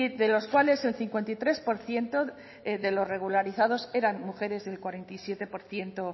de los cuales el cincuenta y tres por ciento de los regularizados eran mujeres y el cuarenta y siete por ciento